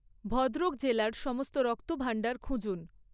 ভদ্রক জেলার সমস্ত রক্তভাণ্ডার খুঁজুন